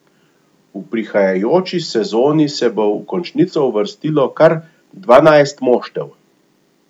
V prihajajoči sezoni se bo v končnico uvrstilo kar dvanajst moštev.